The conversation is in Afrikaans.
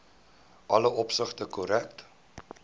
alle opsigte korrek